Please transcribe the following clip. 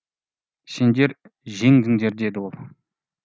сендер жеңдіңдер деді ол